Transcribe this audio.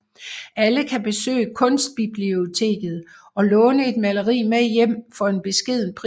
Alle kan besøge Kunstbiblioteket og låne et maleri med hjem for en beskeden pris